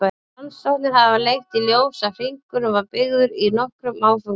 Rannsóknir hafa leitt í ljós að hringurinn var byggður í nokkrum áföngum.